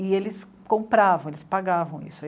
E eles compravam, eles pagavam isso.